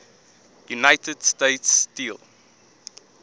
united states steel